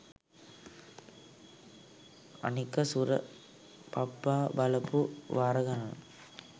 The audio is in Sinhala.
අනික සුර පප්පා.බලපු වාර ගණන